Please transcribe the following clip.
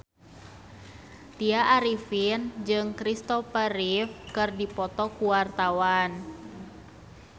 Tya Arifin jeung Kristopher Reeve keur dipoto ku wartawan